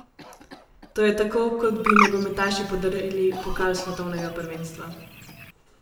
To je tako, kot bi nogometaši podarili pokal svetovnega prvenstva!